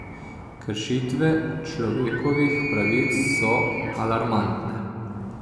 Kršitve človekovih pravic so alarmantne.